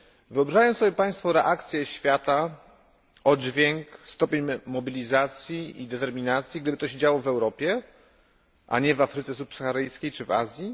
Wyobrażają sobie Państwo reakcję świata, oddźwięk, stopień mobilizacji i determinacji, gdyby to się działo w Europie, a nie w Afryce Subsaharyjskiej czy w Azji?